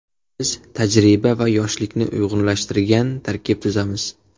Biz tajriba va yoshlikni uyg‘unlashtirgan tarkib tuzamiz.